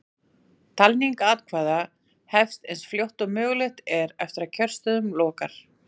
Talning atkvæða hefst eins fljótt og mögulegt er eftir að kjörstöðum lokar.